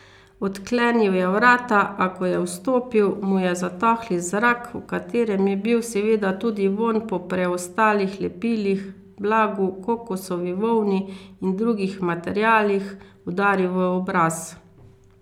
Odklenil je vrata, a ko je vstopil, mu je zatohli zrak, v katerem je bil seveda tudi vonj po preostalih lepilih, blagu, kokosovi volni in drugih materialih, udaril v obraz.